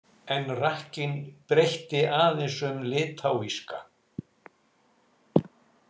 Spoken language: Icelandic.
En rakkinn breytti aðeins um litáíska.